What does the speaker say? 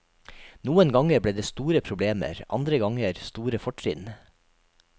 Noen ganger ble det store problemer, andre ganger store fortrinn.